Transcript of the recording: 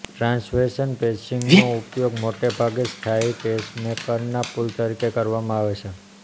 ટ્રાન્સવેશન પેસિંગનો ઉપયોગ મોટેભાગે સ્થાયી પેસમેકરના પુલ તરીકે કરવામાં આવે છે